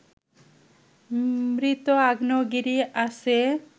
মৃত আগ্নেয়গিরি আছে